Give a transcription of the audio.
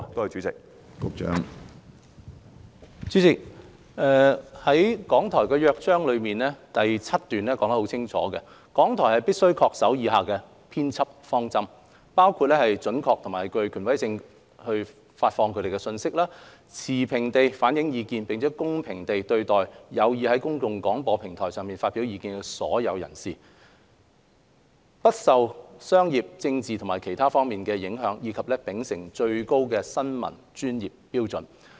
主席，《港台約章》第7段寫得很清楚，港台必須恪守以下編輯方針：發放準確並具權威性的資訊；持平地反映意見，並公平地對待有意在公共廣播平台上發表意見的所有人士；不受商業、政治及/或其他方面的影響；以及秉持最高的新聞專業標準。